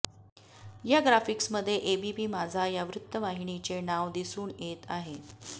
या ग्राफिक्समध्ये एबीपी माझा या वृत्तवाहिनीचे नाव दिसून येत आहे